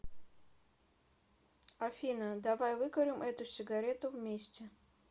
афина давай выкурим эту сигарету вместе